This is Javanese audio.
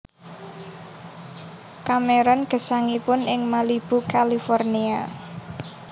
Cameron gesangipun ing Malibu California